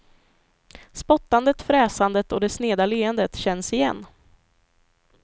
Spottandet, fräsandet och det sneda leendet känns igen.